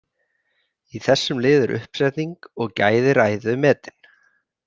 Í þessum lið er uppsetning og gæði ræðu metin.